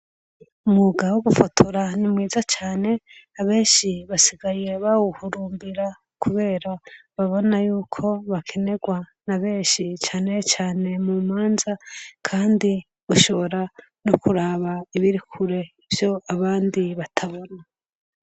Mugabo gufotora ni mwiza cane abenshi basigayiye bawuhurumbira, kubera babona yuko bakenerwa na benshi cane cane mu manza, kandi gushobora no kuraba ibirikure vyo abandi batabona.